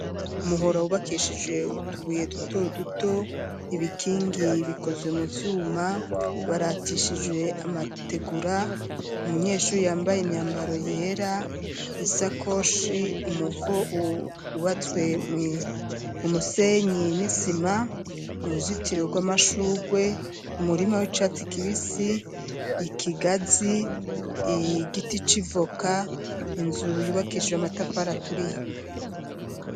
Umuhora wubakishije utubuye duto duto, ibikingi bikozwe mu vyuma waratishijwe amategura, umunyeshuri yambaye imyambaro yera, isakoshi umuvo wubatswe mu musenyi n'isima, uruzitiro rw'amashurwe umurima w'icatsi kibisi, ikigazi, igiti c'ivoka, inzu yubakishijwe amatafara aturiye.